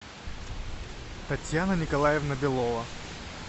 татьяна николаевна белова